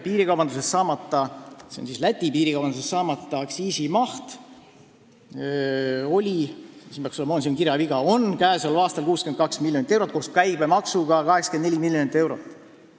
Piirikaubanduse tõttu saamata jääva aktsiisi maht on käesoleval aastal 62 miljonit eurot, koos käibemaksuga 84 miljonit eurot.